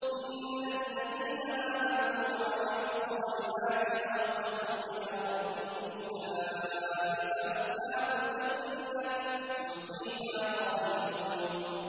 إِنَّ الَّذِينَ آمَنُوا وَعَمِلُوا الصَّالِحَاتِ وَأَخْبَتُوا إِلَىٰ رَبِّهِمْ أُولَٰئِكَ أَصْحَابُ الْجَنَّةِ ۖ هُمْ فِيهَا خَالِدُونَ